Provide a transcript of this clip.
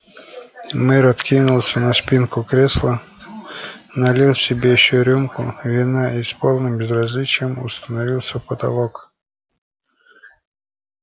мэр откинулся на спинку кресла налил себе ещё рюмку вина и с полным безразличием установился в потолок